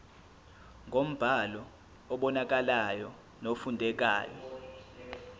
ngombhalo obonakalayo nofundekayo